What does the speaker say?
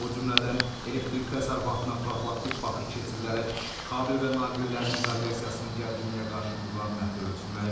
O cümlədən elektrik təsərrüfatına profilaktik baxış keçirilərək kabel və naqillərin izolyasiyasının gərginliyə qarşı müqaviməti ölçülməyib.